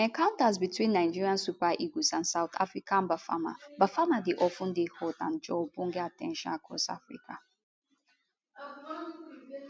encounters between nigeria super eagles and south africa bafana bafana dey of ten dey hot and draw ogbonge at ten tion across africa